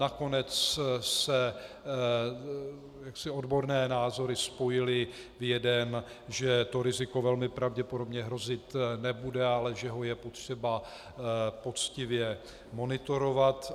Nakonec se odborné názory spojily v jeden, že to riziko velmi pravděpodobně hrozit nebude, ale že ho je potřeba poctivě monitorovat.